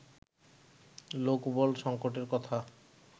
লোকবল সঙ্কটের কথা